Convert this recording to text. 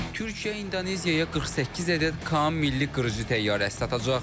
Türkiyə İndoneziyaya 48 ədəd KAAN milli qırıcı təyyarəsi satacaq.